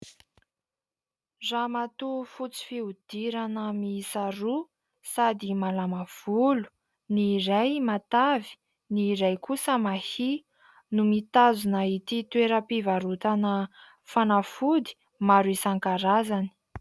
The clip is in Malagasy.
Ramatoa fotsy fihodirana miisa roa sady malama volo: ny iray matavy, ny iray kosa mahia, no mitazona ity toeram-pivarotana fanafody maro isankarazany.